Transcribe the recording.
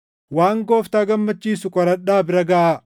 waan Gooftaa gammachiisu qoradhaa bira gaʼaa.